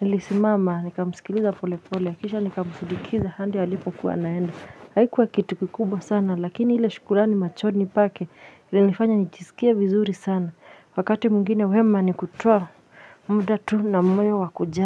nilisimama nikamsikiliza pole pole kisha nikamsindikiza handi alipokuwa anaenda haikuwa kitu kikubwa sana lakini ile shukurani machoni pake ilinifanya nijisikie vizuri sana wakati mwingine wema nikutoa muda tu na moyo wa kujali.